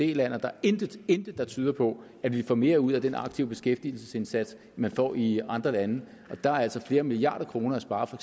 land og der er intet intet der tyder på at vi får mere ud af den aktive beskæftigelsesindsats end man får i andre lande der er altså flere milliarder kroner at spare for